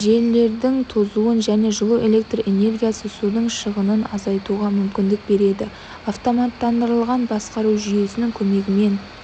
желілердің тозуын және жылу электр энергиясы судың шығынын азайтуға мүмкіндік береді автоматтандырылған басқару жүйесінің көмегімен